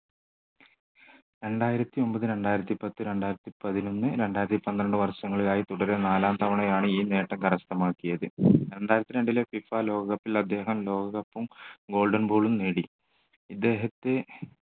രണ്ടായിരത്തിയൊമ്പത് രണ്ടായിരത്തിപത്ത് രണ്ടായിരത്തിപതിനൊന്ന് രണ്ടായിരത്തിപന്ത്രണ്ട് വർഷങ്ങളിലായി തുടരെ നാലാം തവണയാണ് ഈ നേട്ടം കരസ്ഥമാക്കിയത് രണ്ടായിരത്തി രണ്ടിലെ FIFA ലോക cup ൽ അദ്ദേഹം ലോക cup ഉം golden ball ഉം നേടി ഇദ്ദേഹത്തെ